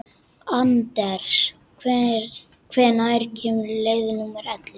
Anders, hvenær kemur leið númer ellefu?